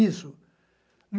Isso.